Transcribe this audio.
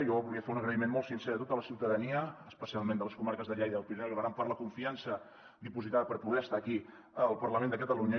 jo volia fer un agraïment molt sincer a tota la ciutadania especialment de les comarques de lleida el pirineu i l’aran per la confiança dipositada per poder estar aquí al parlament de catalunya